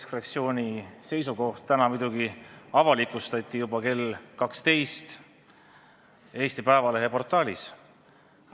Keskfraktsiooni seisukoht avalikustati juba täna kell 12 Eesti Päevalehe portaalis.